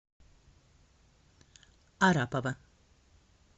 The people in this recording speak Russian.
арапова